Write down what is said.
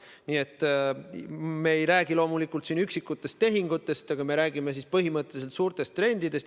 Loomulikult me ei räägi üksikutest tehingutest, aga me räägime põhimõtteliselt suurtest trendidest.